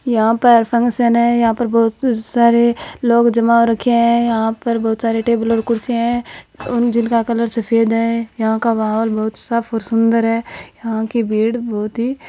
यहाँ पर फंक्शन है और बहुत सारे लोग जमा हो रहे हैं यहां बहुत सारी टेबल कुर्सियां हैजिनका कलर सफेद है यहां का माहोल बहुत साफ और सुंदर है यहां की भीड़ बहुत ही --